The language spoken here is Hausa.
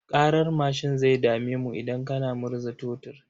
Ƙarar mashin zai dame mu idan kana murza totur.